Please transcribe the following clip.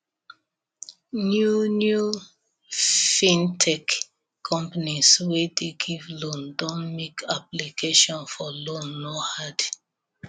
new new fintech companies wey dey give loan don make application for loan no hard